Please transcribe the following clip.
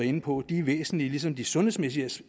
inde på er væsentlige ligesom de sundhedsmæssige